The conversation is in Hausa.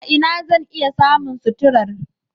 A ina zan iya samun suturar?